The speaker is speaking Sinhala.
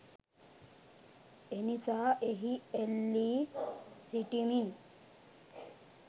එනිසා එහි එල්ලී සිටිමින්